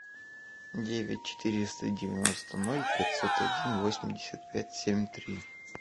девять четыреста девяносто ноль пятьсот один восемьдесят пять семь три